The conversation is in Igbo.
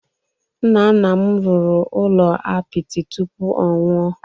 Nna nna m rụrụ ụlọ apịtị tụpụ ọ nwụọ